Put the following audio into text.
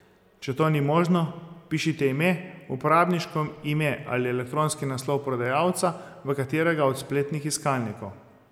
Če to ni možno, vpišite ime, uporabniško ime ali elektronski naslov prodajalca v katerega od spletnih iskalnikov.